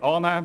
Ziffer 3